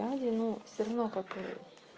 дали ну всё равно какую